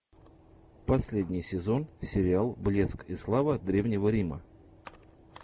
последний сезон сериал блеск и слава древнего рима